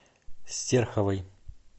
стерховой